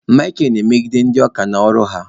Michael na-emegide ndị oka na oru ha